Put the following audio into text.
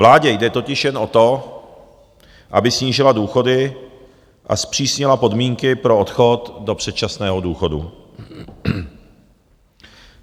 Vládě jde totiž jen o to, aby snížila důchody a zpřísnila podmínky pro odchod do předčasného důchodu.